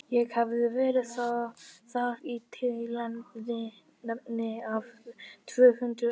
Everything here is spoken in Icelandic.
Ég hafði verið þar í tilefni af tvö hundruð ára afmæli